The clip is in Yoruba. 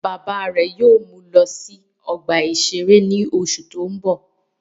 Bàbá rẹ̀ yóò mú wọn lọ sí ọgbà-ìṣeré ní oṣù tó ń bọ̀